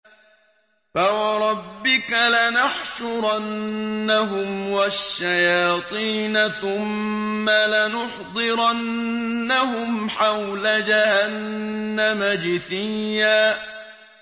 فَوَرَبِّكَ لَنَحْشُرَنَّهُمْ وَالشَّيَاطِينَ ثُمَّ لَنُحْضِرَنَّهُمْ حَوْلَ جَهَنَّمَ جِثِيًّا